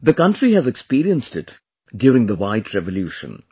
The country has experienced it during the white revolution